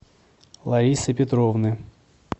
ларисы петровны